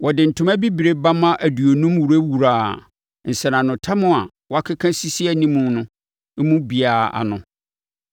Wɔde ntoma bibire bamma aduonum wurawuraa nsɛnanotam a wɔkeka sisii animu no mu biara ano